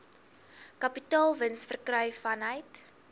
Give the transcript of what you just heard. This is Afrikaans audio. kapitaalwins verkry vanuit